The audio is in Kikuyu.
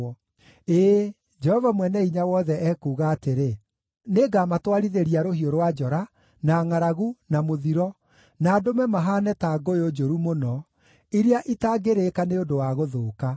ĩĩ, Jehova Mwene-Hinya-Wothe, ekuuga atĩrĩ: “Nĩngamatwarithĩria rũhiũ rwa njora, na ngʼaragu, na mũthiro, na ndũme mahaane ta ngũyũ njũru mũno, iria itangĩrĩĩka nĩ ũndũ wa gũthũka.